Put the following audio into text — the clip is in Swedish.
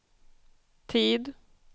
tid